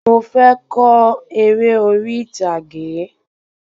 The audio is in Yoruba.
Mò fé ko eré orí ìtàgé